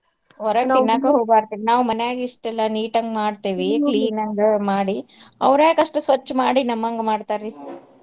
ನಾವ್ ಮನ್ಯಾಗ ಇಷ್ಟೆಲ್ಲ neat ಅಂಗ್ clean ಅಂಗ್ ಮಾಡಿ ಅವ್ರ್ಯಾಕ್ ಅಷ್ಟ್ ಸ್ವಚ್ಛ್ ಮಾಡಿ ನಮ್ಮಂಗ ಮಾಡ್ತಾರ್ರೀ?